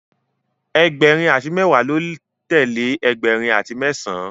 Egberin ati mewa lọ telee ẹgbẹrin ati mẹsan